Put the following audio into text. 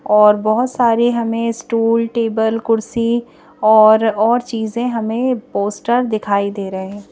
और बहुत सारे हमें स्टूल टेबल कुर्सी और और चीजें हमें पोस्टर दिखाई दे रहे हैं।